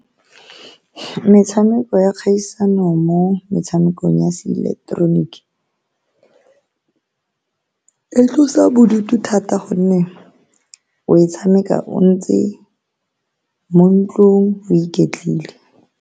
Metshameko ya kgaisano mo metshamekong ya seileketeroniki e tlosa bodutu, thata ka gonne o e tshameka o ntse mo ntlong, o iketlile.